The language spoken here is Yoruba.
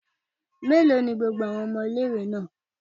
Mélòó ni gbogbo àwọn ọmọ ilé-ìwé náà?